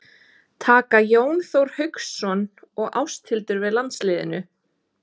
Taka Jón Þór Hauksson og Ásthildur við landsliðinu?